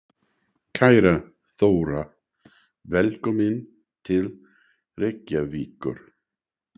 Kæra Þóra. Velkomin til Reykjavíkur.